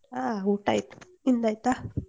ಹಾ ಊಟ ಆಯ್ತು ನಿಮ್ದು ಆಯ್ತಾ?